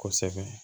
Kosɛbɛ